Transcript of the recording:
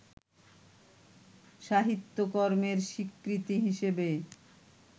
সাহিত্যকর্মের স্বীকৃতি হিসেবে